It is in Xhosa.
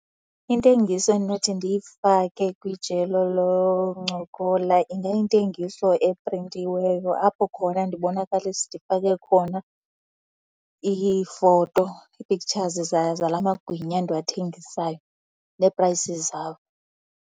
Intengiso endinothi ndiyifake kwijelo loncokola ingayintengiso eprintiweyo apho khona ndibonakalisa, ndifake khona iifoto, ii-pictures zala magwinya ndiwathengisayo nee-prices zawo.